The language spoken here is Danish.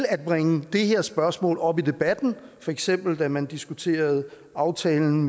at bringe det her spørgsmål op i debatten for eksempel da man diskuterede aftalen